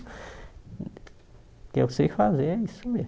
O que eu sei fazer é isso mesmo.